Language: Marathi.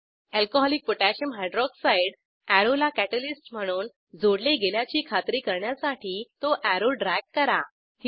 अल्कोहॉलिक पोटॅशियम हायड्रॉक्साइड alcकोह अॅरोला कॅटलिस्ट म्हणून जोडले गेल्याची खात्री करण्यासाठी तो अॅरो ड्रॅग करा